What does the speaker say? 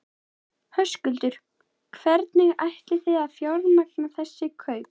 Höskuldur: Hvernig ætlið þið að fjármagna þessi kaup?